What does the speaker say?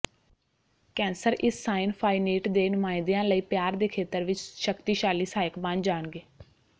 cancer ਇਸ ਸਾਈਨ ਫਾਈਨੀਟ ਦੇ ਨੁਮਾਇੰਦੇਾਂ ਲਈ ਪਿਆਰ ਦੇ ਖੇਤਰ ਵਿਚ ਸ਼ਕਤੀਸ਼ਾਲੀ ਸਹਾਇਕ ਬਣ ਜਾਣਗੇ